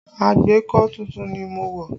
Agbékọ̀ tuntun ni mo wọ̀